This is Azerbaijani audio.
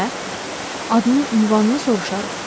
Adını-ünvanını soruşarıq.